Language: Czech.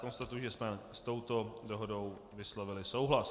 Konstatuji, že jsme s touto dohodou vyslovili souhlas.